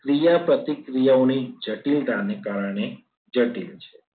ક્રિયા પ્રતિક્રિયાઓ ની જટિલતાઓને કારણે જટિલ છે.